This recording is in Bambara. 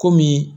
Komi